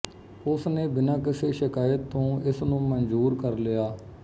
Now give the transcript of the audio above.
ਉਸ ਨੇ ਬਿਨਾਂ ਕਿਸੇ ਸ਼ਿਕਾਇਤ ਤੋਂ ਇਸ ਨੂੰ ਮਨਜ਼ੂਰ ਕਰ ਲਿਆ